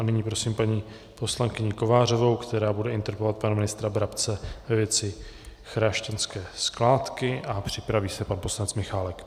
A nyní prosím paní poslankyni Kovářovou, která bude interpelovat pana ministra Brabce ve věci chrášťanské skládky, a připraví se pan poslanec Michálek.